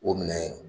O minɛ